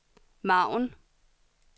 margen